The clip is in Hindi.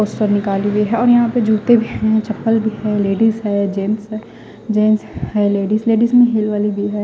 पोस्टर निकाली हुई है और यहा पे जूते भी है चपल भी है लेडिस है जेंस है जेन्स है लेडिस में हिल वाले भी है।